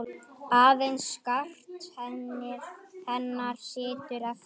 Aðeins skart hennar situr eftir.